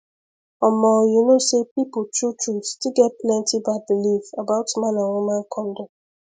omo you know say people truetrue still get plenty bad belief about man and woman condom